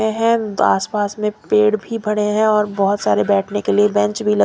ये है आसपास में पेड़ भी बड़े हैं और बहुत सारे बैठने के लिए बेंच भी ल--